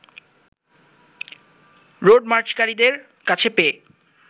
road মার্চকারীদের কাছে পেয়ে